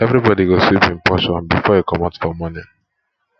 everybodi go sweep im portion before e comot for morning